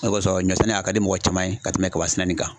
O kosɔn ,ɲɔ sɛnɛ a ka di mɔgɔ caman ye ka tɛmɛ kaba sɛnɛ nin kan.